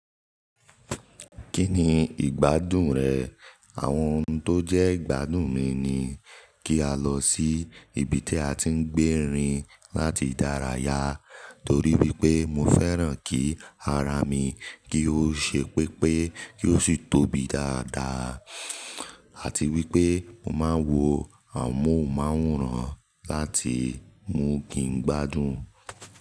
Kí ni ìgbádùn rẹ̀? Àwọn ohun tó jẹ́ ìgbádùn mi ni kí a lọ sí ibi tí a ti ń gbé rin láti ìdárayá torí wípé mo fẹ́ràn kí ara mi kí ó ṣe pépé kí ó sì tóbi dáadáa àti wípé mo máa ń wo àmohunmáwòrán láti mú kí n gbádùn.